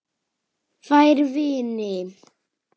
Fær vini